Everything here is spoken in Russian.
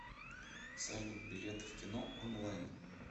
салют билеты в кино онлайн